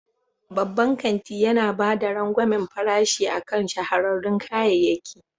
Babban kanti yana ba da rangwamen farashi akan shahararrun kayayyaki.